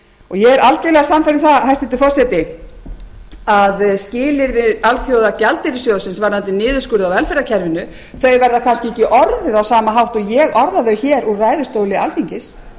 ég er algjörlega sannfærð um það hæstvirtur forseti að skilyrði alþjóðagjaldeyrissjóðsins varðandi niðurskurð á velferðarkerfinu þau verða kannski orðuð á sama hátt og ég orðaði hér úr ræðustóli alþingis en þau eru